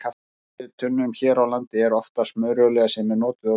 Í olíutunnum hér á landi er oftast smurolía sem er notuð á vélar.